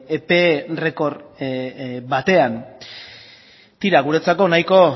epe errekor batean tira guretzako nahiko